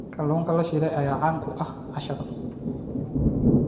Kalluunka la shiilay ayaa caan ku ah cashada.